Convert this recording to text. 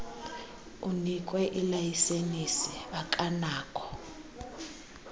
unikwe ilayisenisi akanakho